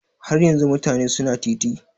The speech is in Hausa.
Har yanzun mutane su na titi?